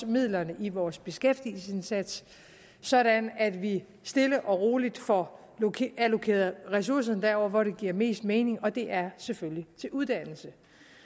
midlerne i vores beskæftigelsesindsats sådan at vi stille og roligt får allokeret ressourcerne derover hvor de giver mest mening og det er selvfølgelig til uddannelse